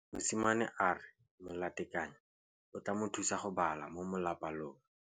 Mosimane a re molatekanyô o tla mo thusa go bala mo molapalong.